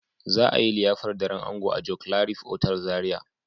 za a yi liyafar daren ango a joclarif otal Zaria.